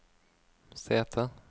sete